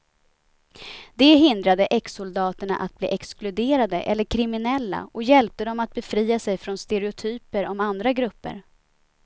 Det hindrade exsoldaterna att bli exkluderade eller kriminella och hjälpte dem att befria sig från stereotyper om andra grupper.